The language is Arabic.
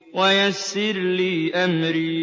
وَيَسِّرْ لِي أَمْرِي